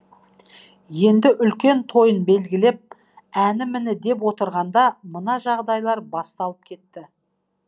енді үлкен тойын белгілеп әні міні деп отырғанда мына жағдайлар басталып кетті